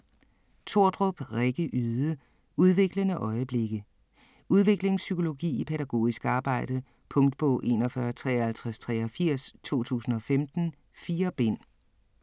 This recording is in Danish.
Tordrup, Rikke Yde: Udviklende øjeblikke Udviklingspsykologi i pædagogisk arbejde. Punktbog 415383 2015. 4 bind.